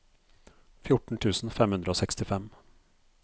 fjorten tusen fem hundre og sekstifem